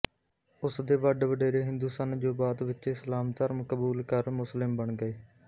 ਉਸਦੇ ਵੱਡਵਡੇਰੇ ਹਿੰਦੂ ਸਨ ਜੋ ਬਾਅਦ ਵਿੱਚ ਇਸਲਾਮ ਧਰਮ ਕਬੂਲ ਕਰ ਮੁਸਲਿਮ ਬਣ ਗਏ